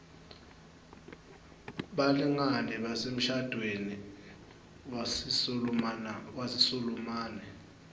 balingani basemshadweni wesisulumani